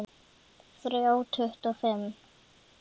Þrjá tuttugu og fimm